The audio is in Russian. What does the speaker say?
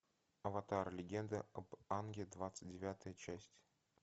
аватар легенда об аанге двадцать девятая часть